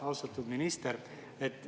Austatud minister!